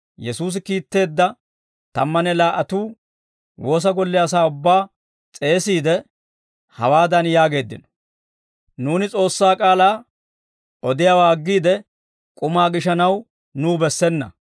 Yesuusi kiitteedda tammanne laa"atuu woosa golle asaa ubbaa s'eesiide, hawaadan yaageeddino; «Nuuni S'oossaa k'aalaa odiyaawaa aggiide, k'umaa gishanaw nuw bessena.